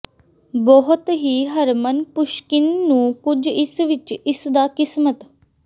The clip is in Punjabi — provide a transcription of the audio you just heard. ਬਹੁਤ ਹੀ ਹਰਮਨ ਪੁਸ਼ਕਿਨ ਨੂੰ ਕੁਝ ਇਸ ਵਿੱਚ ਇਸ ਦਾ ਕਿਸਮਤ